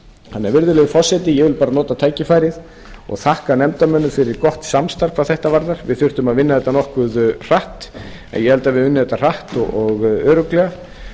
þannig virðulegi forseti ég vil bara nota tækifærið og þakka nefndarmönnum fyrir gott samstarf hvað þetta varðar við þurftum að vinna þetta nokkuð hratt en ég held að við höfum unnið þetta hratt og örugglega